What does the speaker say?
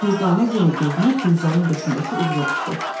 Dürdanə yenə gözünü Gülzarın döşündəki ulduza tikdi.